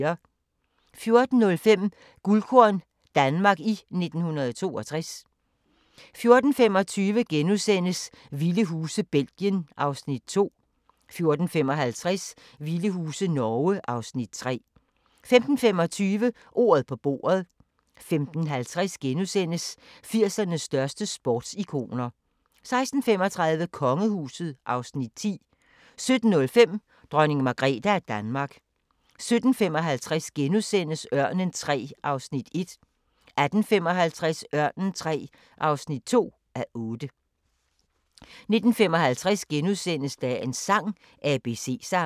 14:05: Guldkorn - Danmark i 1962 14:25: Vilde huse – Belgien (Afs. 2)* 14:55: Vilde huse – Norge (Afs. 3) 15:25: Ordet på bordet 15:50: 80'ernes største sportsikoner * 16:35: Kongehuset (Afs. 10) 17:05: Dronning Margrethe af Danmark 17:55: Ørnen III (1:8)* 18:55: Ørnen III (2:8) 19:55: Dagens sang: ABC-sangen *